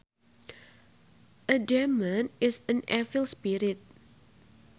A demon is an evil spirit